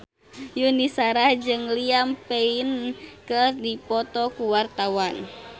Yuni Shara jeung Liam Payne keur dipoto ku wartawan